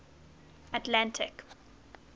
atlantic